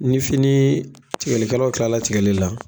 Ni finii tigɛli kɛlaw kilala tigɛli la